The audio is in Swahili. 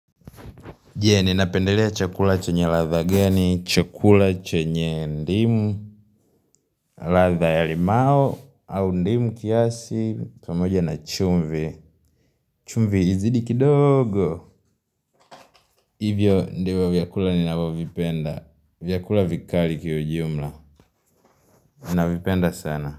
Je, ninapendelea chakula chenye ladha gani, chakula chenye ndimu ladha ya limao, au ndimu kiasi, pamoja na chumvi chumvi izidi kidogo Hivyo ndivyo vyakula ninavyo vipenda, vyakula vikali kwa ujumla navipenda sana.